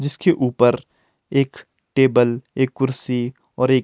जिसके ऊपर एक टेबल एक कुर्सी और एक--